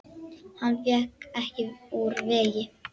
Hann vék ekki úr vegi.